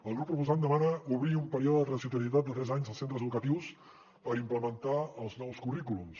el grup proposant demana obrir un període de transitorietat de tres anys als centres educatius per implementar els nous currículums